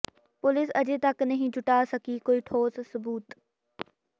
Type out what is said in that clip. police ਅਜੇ ਤੱਕ ਨਹੀਂ ਜੁਟਾ ਸਕੀ ਕੋਈ ਠੋਸ ਸਬੂਤ